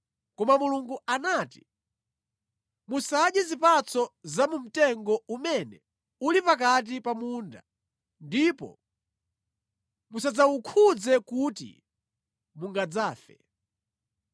koma Mulungu anati, ‘Musadye zipatso za mu mtengo umene uli pakati pa munda, ndipo musadzawukhudze kuti mungadzafe.’ ”